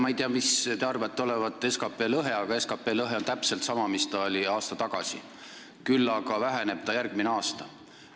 Ma ei tea, mis te arvate olevat SKT lõhe, aga SKT lõhe on täpselt sama, mis ta oli aasta tagasi, küll aga väheneb ta järgmisel aastal.